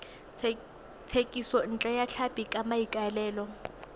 thekisontle ya tlhapi ka maikaelelo